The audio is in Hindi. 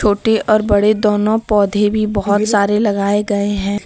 छोटे और बड़े दोनों पौधे भी बहोत सारे लगाए गए हैं।